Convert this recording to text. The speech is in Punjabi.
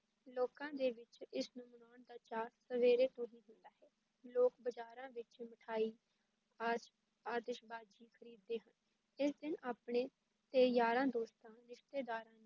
ਲੋਕਾਂ ਦੇ ਵਿੱਚ ਇਸ ਨੂੰ ਮਨਾਉਣ ਦਾ ਚਾਅ ਸਵੇਰ ਤੋਂ ਹੀ ਹੁੰਦਾ ਹੈ, ਲੋਕ ਬਾਜ਼ਾਰਾਂ ਵਿੱਚ ਮਠਿਆਈ, ਆਜ ਆਤਿਸ਼ਬਾਜੀ ਖਰੀਦਦੇ ਹਨ, ਇਸ ਦਿਨ ਆਪਣੇ ਤੇ ਯਾਰਾਂ ਦੋਸਤਾਂ, ਰਿਸ਼ਤੇਦਾਰਾਂ ਨੂੰ